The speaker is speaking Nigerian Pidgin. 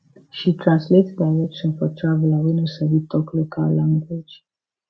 she translate direction for traveler wey no sabi talk local language